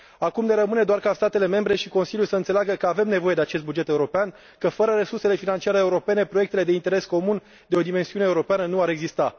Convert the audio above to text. Acum ne rămâne doar ca statele membre și Consiliul să înțeleagă că avem nevoie de acest buget european, că fără resursele financiare europene proiectele de interes comun de o dimensiune europeană nu ar exista.